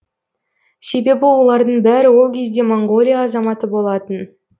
себебі олардың бәрі ол кезде моңғолия азаматы болатын